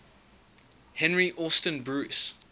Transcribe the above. henry austin bruce